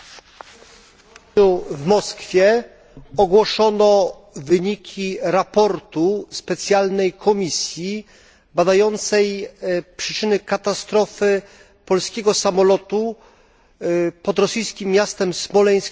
W Moskwie ogłoszono wyniki raportu specjalnej komisji badającej przyczyny katastrofy polskiego samolotu pod rosyjskim miastem Smoleńsk 10 kwietnia zeszłego roku.